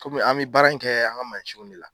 Kɔmi an bɛ baara in kɛ an ka mansinw de la.